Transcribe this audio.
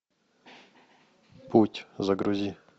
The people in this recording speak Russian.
путь загрузи